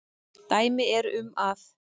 Dæmi eru um að